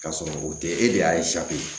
Ka sɔrɔ o tɛ e de y'a